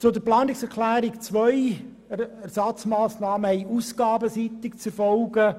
Zu Planungserklärung 2: Ersatzmassnahmen hätten ausgabenseitig zu erfolgen.